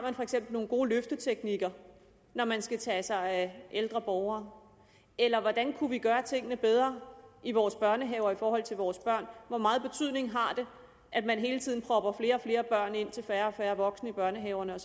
nogle gode løfteteknikker når man skal tage sig af ældre borgere eller hvordan vi kunne gøre tingene bedre i vores børnehaver i forhold til vores børn hvor meget betydning har det at man hele tiden propper flere og flere børn ind til færre og færre voksne i børnehaverne